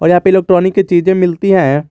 और यहां पे इलेक्ट्रॉनिक की चीजें मिलती हैं।